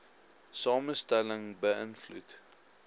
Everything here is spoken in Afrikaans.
samestelling be ïnvloed